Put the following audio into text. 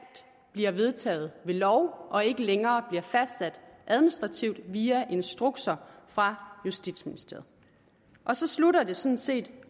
bliver vedtaget ved lov og ikke længere bliver fastsat administrativt via instrukser fra justitsministeriet og så slutter det sådan set